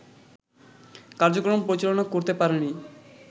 কার্যক্রম পরিচালনা করতে পারেনি